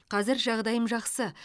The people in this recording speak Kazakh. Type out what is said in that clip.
қазір жағдайым жақсы